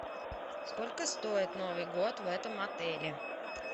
сколько стоит новый год в этом отеле